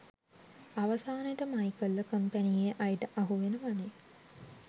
අවසානෙට මයිකල්ව කම්පැනියේ අයට අහුවෙනවනේ